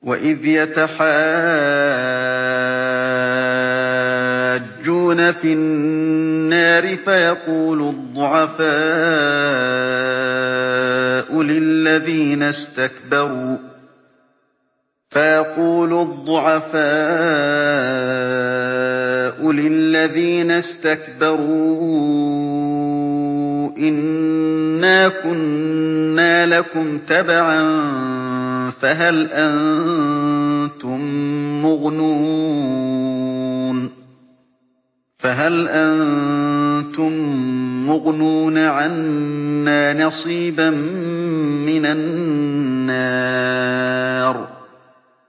وَإِذْ يَتَحَاجُّونَ فِي النَّارِ فَيَقُولُ الضُّعَفَاءُ لِلَّذِينَ اسْتَكْبَرُوا إِنَّا كُنَّا لَكُمْ تَبَعًا فَهَلْ أَنتُم مُّغْنُونَ عَنَّا نَصِيبًا مِّنَ النَّارِ